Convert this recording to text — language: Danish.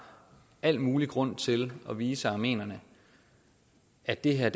al mulig grund til at vise armenierne at det her